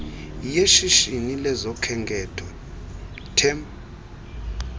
yeshishini lezokhenketho tep